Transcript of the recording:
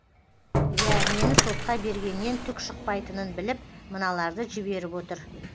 ия мені сотқа бергеннен түк шықпайтынын біліп мыналарды жіберіп отыр